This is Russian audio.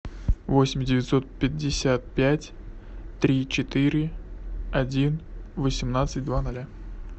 восемь девятьсот пятьдесят пять три четыре один восемнадцать два нуля